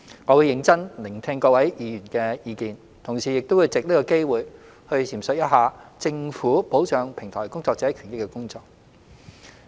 我會認真聆聽各位議員的意見，同時也想藉此機會闡述政府保障平台工作者權益的工作。